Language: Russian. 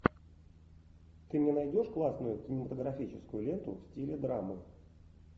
ты мне найдешь классную кинематографическую ленту в стиле драмы